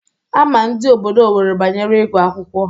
Ama ndị obodo Owerri banyere ịgụ akwụkwọ.